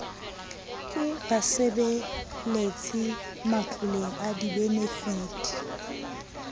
ke basebeletsi matloleng a dibenefiti